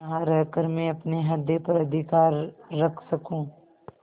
यहाँ रहकर मैं अपने हृदय पर अधिकार रख सकँू